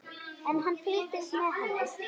En hann fylgist með henni.